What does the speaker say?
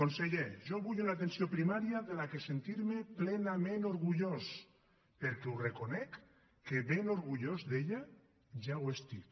conseller jo vull una atenció primària de què sentir me plenament orgullós perquè ho reconec que ben orgullós d’ella ja ho estic